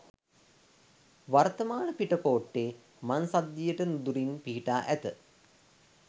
වර්තමාන පිටකෝට්ටේ මං සන්ධියට නුදුරින් පිහිටා ඇත.